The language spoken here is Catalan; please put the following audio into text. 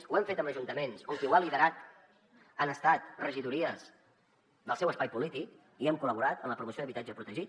ho hem fet amb ajuntaments on qui ho ha liderat han estat regidories del seu espai polític i hem col·laborat en la promoció d’habitatge protegit